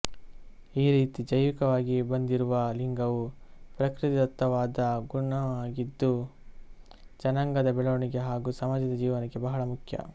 ಈ ರೀತಿ ಜೈವಿಕವಾಗಿ ಬಂದಿರುವ ಲಿಂಗವು ಪಕೃತಿದತ್ತವಾದ ಗುಣವಾಗಿದ್ದು ಜನಾಂಗದ ಬೆಳವಣಿಗೆ ಹಾಗೂ ಸಮಾಜ ಜೀವನಕ್ಕೆ ಬಹಳ ಮುಖ್ಯ